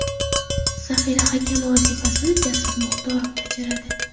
Zaxira hakami vazifasini Jasur Muxtorov bajaradi.